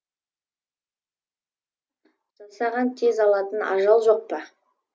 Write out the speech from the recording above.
болмаса жасаған тез алатын ажал жоқ па